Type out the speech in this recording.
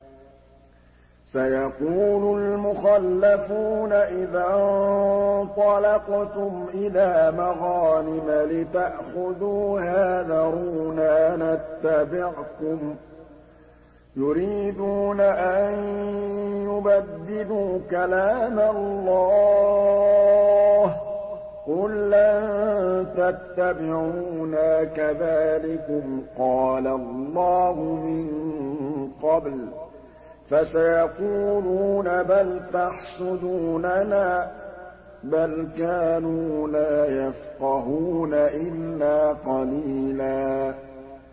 سَيَقُولُ الْمُخَلَّفُونَ إِذَا انطَلَقْتُمْ إِلَىٰ مَغَانِمَ لِتَأْخُذُوهَا ذَرُونَا نَتَّبِعْكُمْ ۖ يُرِيدُونَ أَن يُبَدِّلُوا كَلَامَ اللَّهِ ۚ قُل لَّن تَتَّبِعُونَا كَذَٰلِكُمْ قَالَ اللَّهُ مِن قَبْلُ ۖ فَسَيَقُولُونَ بَلْ تَحْسُدُونَنَا ۚ بَلْ كَانُوا لَا يَفْقَهُونَ إِلَّا قَلِيلًا